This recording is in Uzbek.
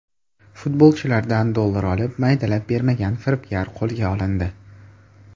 Futbolchilardan dollar olib, maydalab bermagan firibgar qo‘lga olindi.